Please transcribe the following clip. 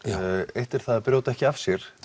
eitt er það að brjóta ekki af sér